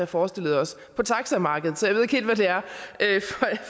forestillet os på taxamarkedet så jeg ved ikke helt hvad det er